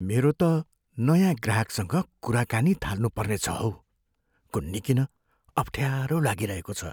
मेरो त नयाँ ग्राहकसँग कुराकानी थाल्नुपर्ने छ हौ। कुन्नी किन अफ्ठ्यारो लागिरहेको छ।